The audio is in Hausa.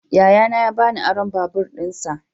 Yayana ya ba ni aron babur dinsa.